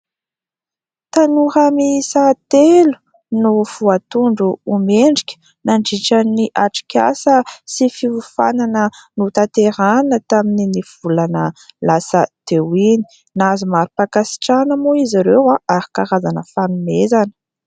Tanora miisa telo no voatondro ho mendrika nandritran'ny atrik'asa sy fiofanana notanterahana tamin'ny ny volana lasa teo iny ; nahazo mari-pakasitrahana moa izy ireo ary karazana fanomezana.